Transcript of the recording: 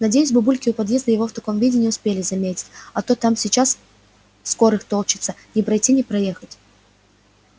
надеюсь бабульки у подъезда его в таком виде не успели заметить а то там сейчас скорых толчётся не пройти не проехать